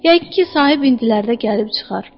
Yəqin ki, sahib indilərdə gəlib çıxar.